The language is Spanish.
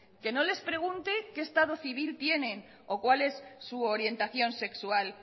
que no les pregunte qué estado civil tiene o cuál es su orientación sexual